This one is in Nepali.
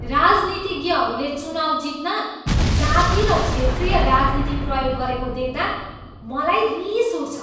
राजनीतिज्ञहरूले चुनाउ जित्न जाति र क्षेत्रीय राजनीति प्रयोग गरेको देख्दा मलाई रिस उठ्छ।